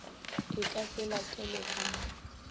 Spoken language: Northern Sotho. e ka se latele ka